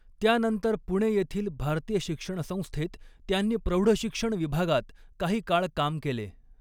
त्यानंतर पुणे येथील भारतीय शिक्षणसंस्थेत त्यांनी प्रौढशिक्षण विभागात काही काळ काम केले.